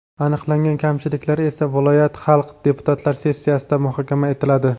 Aniqlangan kamchiliklar esa viloyat xalq deputatlari sessiyasida muhokama etiladi.